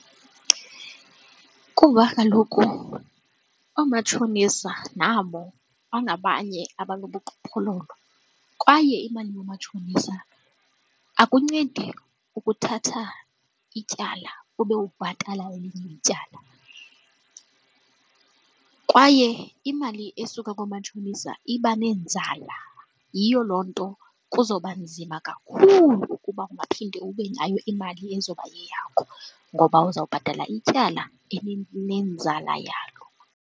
Kuba kaloku oomatshonisa nabo bangabanye abanobuqhophololo kwaye imali yoomatshonisa akuncedi ukuthatha ityala ube ubhatala elinye ityala, kwaye imali esuka koomatshonisa iba nenzala. Yiyo loo nto kuzawuba nzima kakhulu ukuba ungaphinde ube nayo imali ezoba yeyakho ngoba uzawubhatala ityala elinenzala yalo.